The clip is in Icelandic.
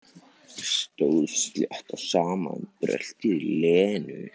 Stóð slétt á sama um bröltið í Lenu.